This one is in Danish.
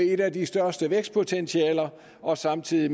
et af de største vækstpotentialer og samtidig